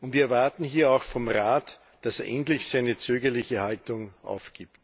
Wir erwarten hier auch vom Rat, dass er endlich seine zögerliche Haltung aufgibt.